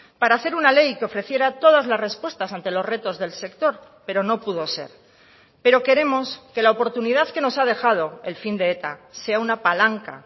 para hacer una ley que ofreciera todas las respuestas ante los retos del sector pero no pudo ser pero queremos que la oportunidad que nos ha dejado el fin de eta sea una palanca